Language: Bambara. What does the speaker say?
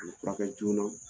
U furakɛ joona